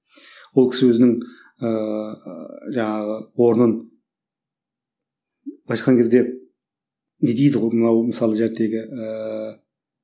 ол кісі өзінің ыыы жаңағы орнын былайша айтқан кезде не дейді ғой мынау мысалы ыыы